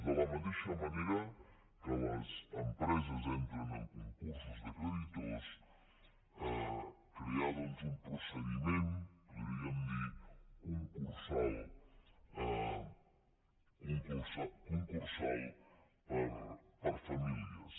de la mateixa manera que les empreses entren en concursos de creditors crear doncs un procediment podríem dir ne concursal per a famílies